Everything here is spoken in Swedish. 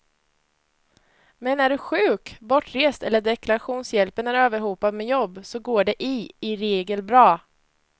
Men är du sjuk, bortrest eller deklarationshjälpen är överhopad med jobb så går det i i regel bra.